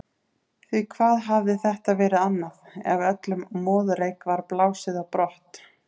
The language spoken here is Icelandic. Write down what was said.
Því hvað hafði þetta verið annað, ef öllum moðreyk var blásið á brott?